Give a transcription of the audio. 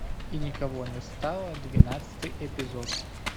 и никого не стало двенадцатый эпизод